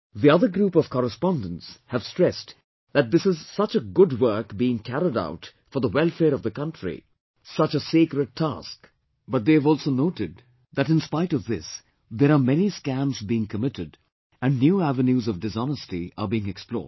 The other group of correspondents have stressed that this is such a good work being carried out for the welfare of the country, such a sacred task but they have also noted that in spite of this there are many scams being committed and new avenues of dishonesty are being explored